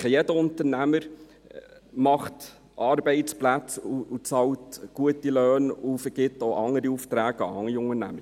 Ich denke, jeder Unternehmer schafft Arbeitsplätze, bezahlt gute Löhne und erteilt anderen Unternehmen Aufträge.